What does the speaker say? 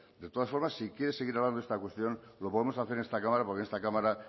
de todas formas si quiere seguir hablando de esta cuestión lo podemos hacer en esta cámara porque en esta cámara